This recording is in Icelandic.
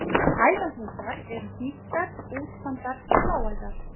Æðahnútar eru hnýttar, útþandar bláæðar.